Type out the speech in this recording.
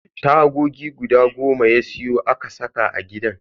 Tagogi guda goma ya siyo a saka a gidan.